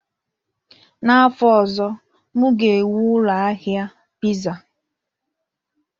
N'afọ ọzọ, m ga-ewu ụlọ ahịa Pizza